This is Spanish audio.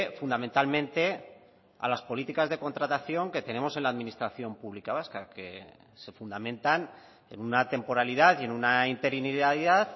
fundamentalmente a las políticas de contratación que tenemos en la administración pública vasca que se fundamentan en una temporalidad y en una interinidad